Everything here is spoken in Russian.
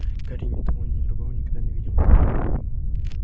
гарри ни того ни другого никогда не видел